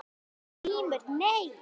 GRÍMUR: Nei?